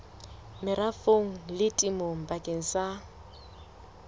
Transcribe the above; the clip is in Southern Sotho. merafong le temong bakeng sa